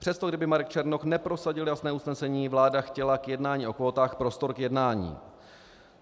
Přesto kdyby Marek Černoch neprosadil jasné usnesení, vláda chtěla k jednání o kvótách prostor k jednání.